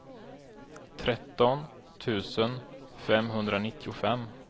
tretton tusen femhundranittiofem